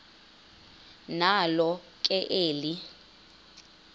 nalo ke eli